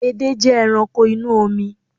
Edé jẹ́ ẹranko inú omi